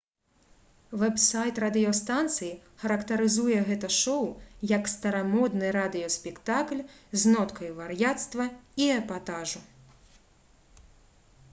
вэб-сайт радыёстанцыі характарызуе гэта шоу як «старамодны радыёспектакль з ноткай вар'яцтва і эпатажу!»